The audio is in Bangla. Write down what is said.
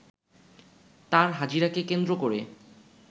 তার হাজিরাকে কেন্দ্র করে